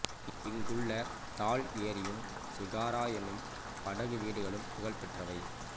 இங்குள்ள தால் ஏரியும் சிகாரா எனும் படகு வீடுகளும் புகழ் பெற்றவை